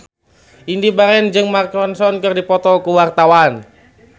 Indy Barens jeung Mark Ronson keur dipoto ku wartawan